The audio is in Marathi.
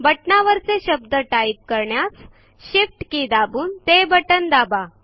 बटनावरचे शब्द टाइप करण्यास shift के दाबून ते बटन दाबा